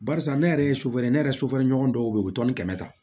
Barisa ne yɛrɛ ye sofɛri ne yɛrɛ sofɛrɛneɲɔgɔn dɔw be yen u bi tɔn ni kɛmɛ ta